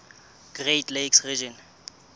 great lakes region